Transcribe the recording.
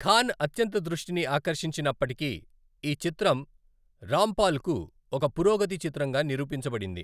ఖాన్ అత్యంత దృష్టిని ఆకర్షించినప్పటికీ, ఈ చిత్రం రాంపాల్కు ఒక పురోగతి చిత్రంగా నిరూపించబడింది.